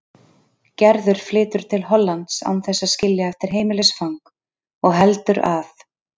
Gerður flytur til Hollands án þess að skilja eftir heimilisfang og heldur að